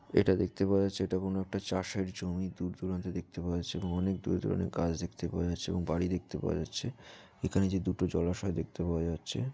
এটা দেখতে পাওয়া যাচ্ছে এটা কোনো একটা চাষের জমি দূরদূরান্তে দেখতে পাওয়া যাচ্ছে এবং অনেক দূরদূরনের গাছ দেখতে পাওয়া যাচ্ছে এবং বাড়ি দেখতে পাওয়া যাচ্ছে। এখানে যে দুটো জলাশয় দেখতে পাওয়া যাচ্ছে --